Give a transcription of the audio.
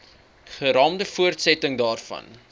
geraamde voortsetting daarvan